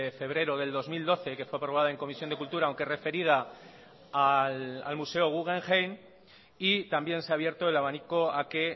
febrero del dos mil doce que fue aprobada en comisión de cultura aunque referida al museo guggenheim y también se a abierto el abanico a que